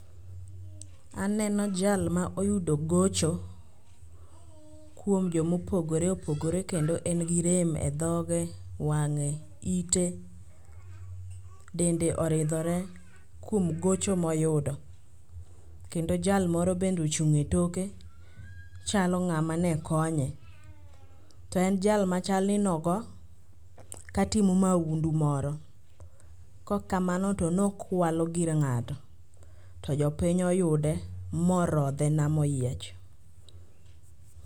Aneno jal ma oyudo gocho kuom jomopogore opogore kendo en gi rem e dhoge, wang'e, ite. Dende oridhore kuom gocho moyudo, kendo jal moro bende ochung' e toke chalo ng'ama ne konye. To en jal machal ni nogo katimo maundu moro, kokamano to ne okwalo gir ng'ato to jopiny oyude morodhe nam oyiech.